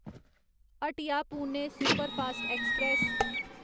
Hatia Pune superfast express